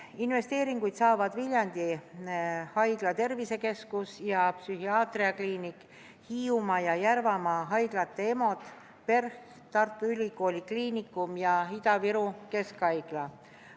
Investeeringuid saavad Viljandi Haigla tervisekeskus ja psühhiaatriakliinik, Hiiumaa ja Järvamaa haigla EMO-d, PERH, Tartu Ülikooli Kliinikum ja Ida-Viru Keskhaigla.